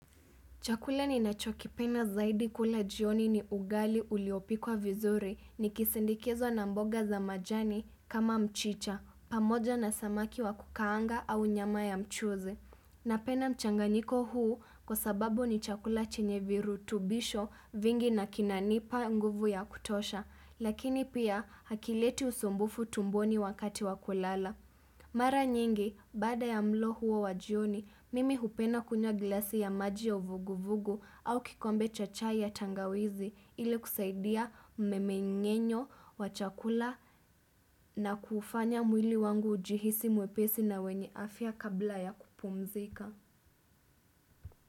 Chakula ninachokipenda zaidi kula jioni ni ugali uliopikwa vizuri ni kisindikizwa na mboga za majani kama mchicha, pamoja na samaki wa kukaanga au nyama ya mchuzi. Napenda mchanganyiko huu kwa sababu ni chakula chenye virutubisho vingi na kinanipa nguvu ya kutosha, lakini pia hakileti usumbufu tumboni wakati wa kulala. Mara nyingi, baada ya mlo huo wajioni, mimi hupenda kunywa glasi ya maji ya vugu vugu au kikombe cha chai ya tangawizi ili kusaidia mmengenyo wa chakula na kuufanya mwili wangu ujihisi mwepesi na wenye afya kabla ya kupumzika.